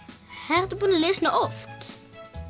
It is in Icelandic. ertu búin að lesa hana oft